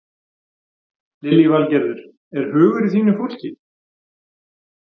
Lillý Valgerður: Er hugur í þínu fólki?